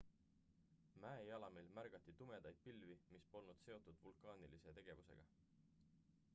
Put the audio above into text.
mäejalamil märgati tumedaid pilvi mis polnud seotud vulkaanilise tegevusega